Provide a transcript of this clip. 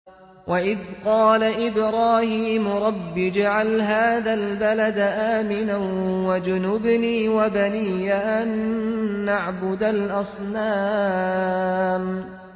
وَإِذْ قَالَ إِبْرَاهِيمُ رَبِّ اجْعَلْ هَٰذَا الْبَلَدَ آمِنًا وَاجْنُبْنِي وَبَنِيَّ أَن نَّعْبُدَ الْأَصْنَامَ